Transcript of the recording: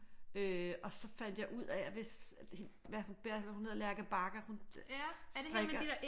Øh og så fandt jeg ud af at hvis hun hedder Lærke Bagger hun strikker